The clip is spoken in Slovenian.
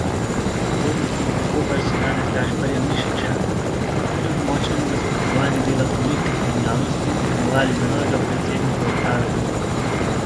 Nadzorniki Luke Koper so danes Gašparja Mišiča kljub močnemu nasprotovanju dela politike in javnosti imenovali za novega predsednika uprave družbe.